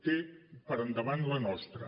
té per endavant la nostra